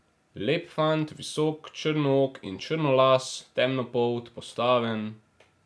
Lep fant, visok, črnook in črnolas, temnopolt, postaven ...